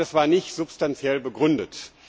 Ich glaube, das war nicht substanziell begründet.